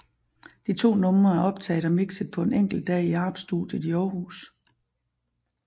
De to numre er optaget og mikset på en enkelt dag i Arp studiet i Århus